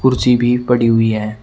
कुसी भी पड़ी हुई है।